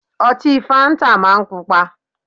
Ọtí fáńtà máa ń Pupa